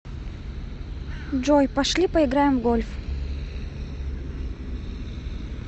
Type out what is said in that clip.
джой пошли поиграем в гольф